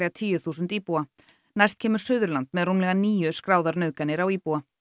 tíu þúsund íbúa næst kemur Suðurland með rúmlega níu skráðar nauðganir á íbúa